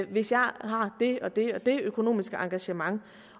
hvis jeg har det og det økonomiske engagement